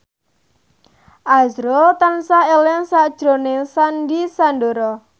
azrul tansah eling sakjroning Sandy Sandoro